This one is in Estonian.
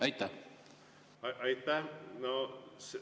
Aitäh!